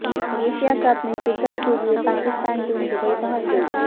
Asia cup میں شرکت کے لیے پاکستان ٹیم دبئی پہنچ گئی